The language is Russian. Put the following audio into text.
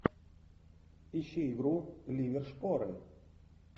ищи игру ливер шпоры